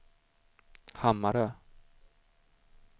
Hammarö